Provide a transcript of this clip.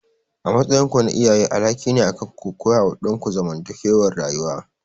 A matsayinku na iyaye alhakin ne akanku ku koyawa ɗanku zamantakewar rayuwa.